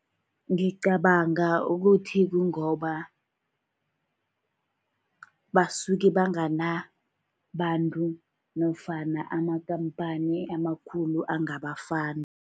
Ngicabanga ukuthi kungoba basuke banganabantu, nofana ama-company amakhulu angaba-fund.